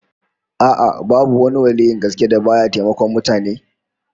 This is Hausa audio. A'a, babu wani waliyyin gaske da ba ya taimakon mutane